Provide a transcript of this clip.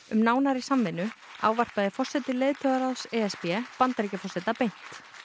um nánari samvinnu ávarpaði forseti leiðtogaráðs e s b Bandaríkjaforseta beint